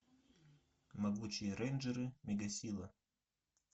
могучие рейнджеры мегасила